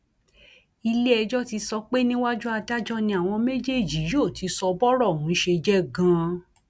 iléẹjọ ti sọ pé níwájú adájọ ni àwọn méjèèjì yóò ti sọ bọrọ ọhún ṣe jẹ ganan